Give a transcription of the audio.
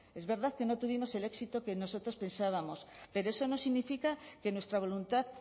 es verdad que no tuvimos el éxito que nosotros pensábamos pero eso no significa que nuestra voluntad